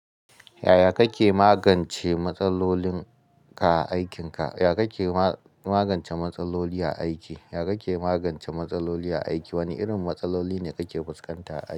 Yaya kake magance matsalolin ka a aikinka? Yaya kake ma-magance matsaloli a aiki? Yaya kake magance matsaloli a aiki? Wane irin matsaloli ne kake fuskanta?